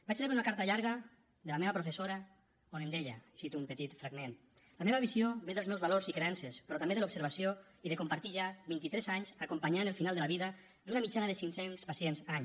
vaig rebre una carta llarga de la meva professora on em deia i en cito un petit fragment la meva visió ve dels meus valors i creences però també de l’observació i de compartir ja vint i tres anys acompanyant el final de la vida d’una mitjana de cinc cents pacients any